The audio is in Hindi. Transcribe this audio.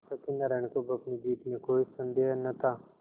सत्यनाराण को अब अपनी जीत में कोई सन्देह न था